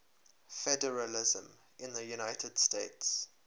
federalism in the united states